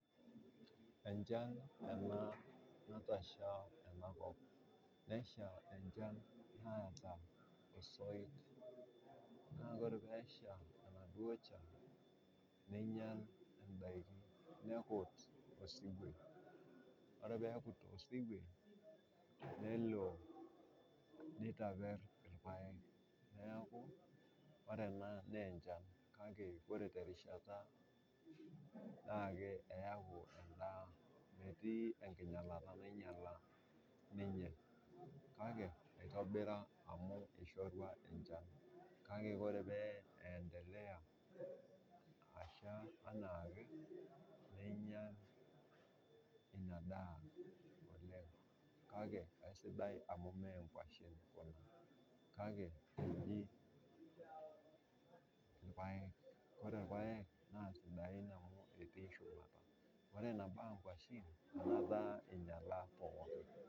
Echan ena natasha tenakop, nesha enchan naata osoit, naa ore peesha enaduo chan neinyal indaki, nekut osuwuo, ore peekut osuwuo neitaper ilpaek, naaku ore ena naa enchan kake, kore te rishata naa eaku endaa, metii enkinyalata nainyala ninye kake eitobira amu eishorua enchan, kake ore pee eentelea asha anaake, neinyal inadaa oleng kake esidai amu mee enkoshen kuna kake eji ilpaek, kore ilpaek naa sidai amu etii shumata, ore nebaa nkoshen enata einyala pookin.